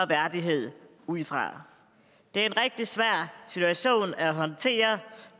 værdighed ud fra det er en rigtig svær situation at håndtere